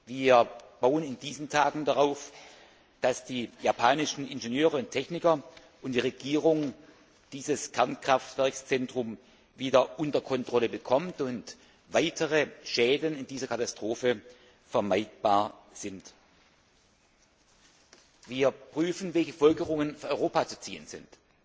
Wir bauen in diesen Tagen darauf, dass die japanischen Ingenieure und Techniker und die Regierung dieses Kernkraftwerkszentrum wieder unter Kontrolle bekommen und weitere Schäden in dieser Katastrophe vermieden werden können. Wir prüfen, welche Folgerungen für Europa zu ziehen sind.